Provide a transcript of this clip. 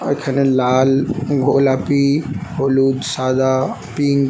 আর এখানে লাল গোলাপি হলুদ সাদা পিঙ্ক --